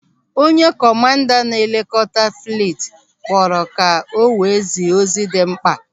Onye kọmanda na-elekọta fliit kpọrọ ka o wee zie ozi dị mkpa.